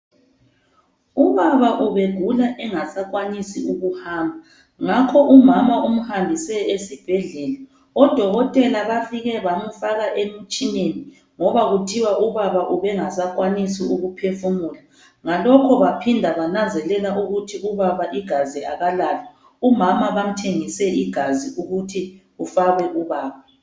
Ubaba ubegula engasakwanisi ukuhamba, ngakho umama umhambise esibhedlela odokotela bafike bamfaka emtshineni ngoba kuthiwa ubaba ubengasakwanisi ukuphefumula ngalokho baphinda bananzelela ukuthi ubaba igazi akalalo. Umama bamthengise igazi ukuthi bafake kubaba.